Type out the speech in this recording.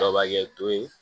Kɔrɔbakɛ don